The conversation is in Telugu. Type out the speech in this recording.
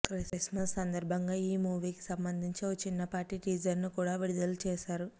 క్రిస్మస్ సందర్భంగా ఈ మూవీకి సంబంధించిన ఓ చిన్నపాటి టీజర్ను కూడా విడుదల చేశారు